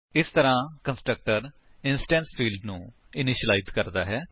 ਇਸ ਤਰਾਂ constructor instance field ਨੂੰ ਇਨਿਸ਼ਿਲਾਇਜ ਕਰਦਾ ਹੈ